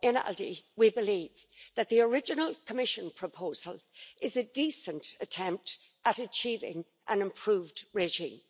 in ALDE, we believe that the original Commission proposal is a decent attempt at achieving an improved regime.